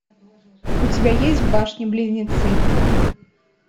у тебя есть башни близнецы